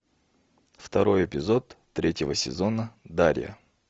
второй эпизод третьего сезона дарья